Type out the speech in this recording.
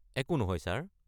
একো নহয়, ছাৰ।